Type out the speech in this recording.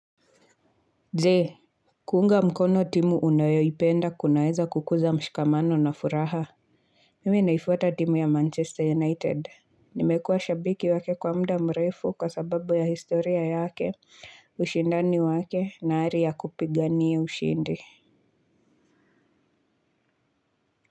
Jee kuunga mkono timu unayoipenda kunaeza kukuza mshikamano na furaha. Mimi naifuata timu ya Manchester United. Nimekua shabiki wake kwa muda mrefu kwa sababu ya historia yake ushindani wake na ari ya kupigania ushindi.